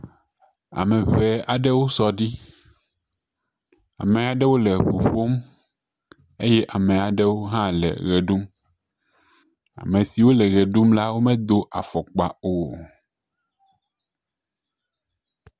Ame ŋee aɖewo sɔ ɖi. Ame aɖewo le ŋu ƒom eye ame aɖewo hã le ʋe ɖum. Ame siwo le ʋe ɖum la womedo afɔkpa o.